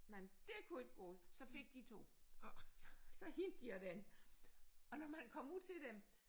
Nej det kunne ikke gå så fik de 2. Og så hentede de også den og når man kom ud til dem